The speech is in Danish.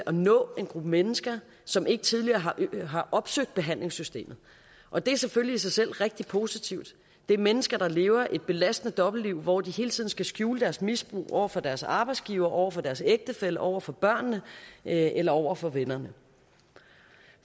at nå en gruppe mennesker som ikke tidligere har opsøgt behandlingssystemet og det er selvfølgelig i sig selv rigtig positivt det er mennesker der lever et belastende dobbeltliv hvor de hele tiden skal skjule deres misbrug over for deres arbejdsgiver over for deres ægtefælle over for børnene eller over for vennerne